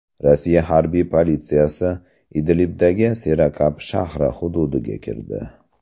Rossiya harbiy politsiyasi Idlibdagi Serakab shahri hududiga kirdi.